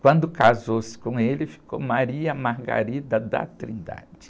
Quando casou-se com ele, ficou Maria Margarida da Trindade.